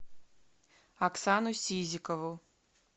оксану сизикову